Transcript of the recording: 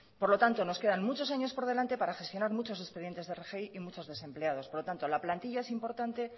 por lo tanto nos quedan muchos años por delante para gestionar muchos expedientes de rgi y muchos desempleados por lo tanto la plantilla es importante